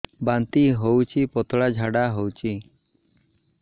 ବାନ୍ତି ହଉଚି ପତଳା ଝାଡା ହଉଚି